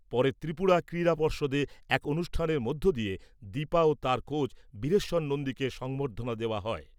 পরে ত্রিপুরা ক্রীড়া পর্ষদে এক অনুষ্ঠানের মধ্য দিয়ে দীপা ও তার কোচ বিশ্বেশ্বর নন্দীকে সংবর্ধনা দেওয়া হয়।